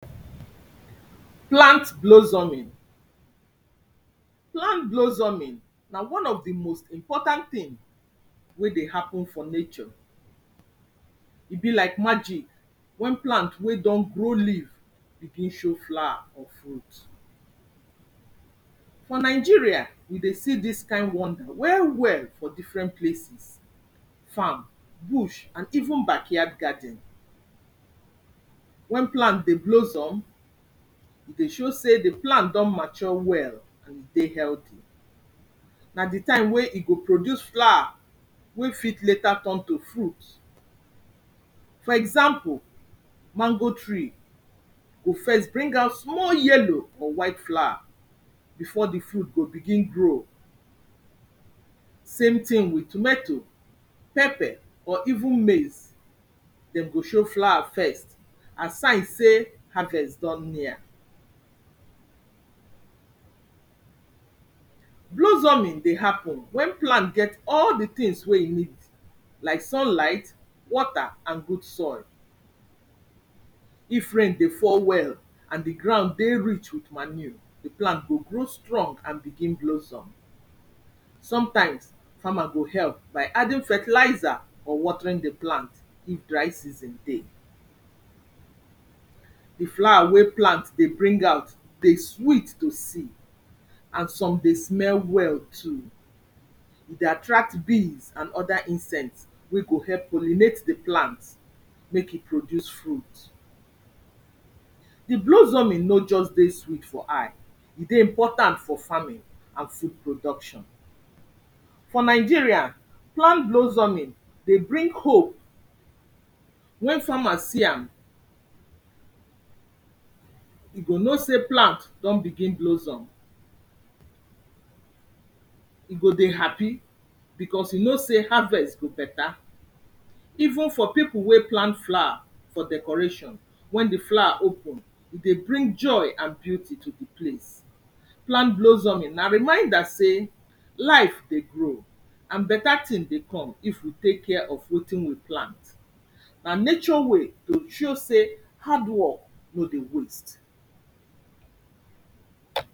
plant blozzoming: plant blozzoming na one of di most important tin wey dey happen for nature. e be like magic wen plant wey don grow leave begin show flower or fruit. for nigeria, we dey see dis kind wonder well well for different places, farm, bush and even backyard garden. wen plan dey blozzom, e dey show sey di plan don mature well and dey helthy. na di time wey e go produce flower wey fit later turn to fruit. for example mango tree, go first bring out small yellow or white flower before di fruit go begin grow. same tin with tomatoe, pepper or even maize dem go show flower first aside sey harvest don near. blozzoming dey happen wen plan get all di tins wey e need like sun light water and good soil. if rain dey fall well and di ground dey rich with manue, di plant go grow strong and begin blozzom. sometimes, farmer go help by adding fertlizer or watering di plant if dry season dey. di flower wey plant dey bring out dey sweet to see, and some dey smell well too. e dey attract bees and othr insent wey go help pollinate di plant make e produce fruit. di blozzoming no just dey sweet for eye, e dey important for farming and food production for nigeria, plan blozzoming dey bring hope wen farmers see am. e go know sey plant don begin blozzom, e go dey happy because e know sey harvest go beta even for pipu wey plan flower for decoration wen di flower open, e dey bring joy and beauty to di place.plant blozzoming na reminder sey life dey grow and beta tin dey come if we tek care of wetin we plant. na nature way to show sey hard work no dey waste.